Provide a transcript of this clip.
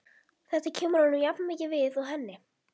Þetta kemur honum jafnmikið við og henni.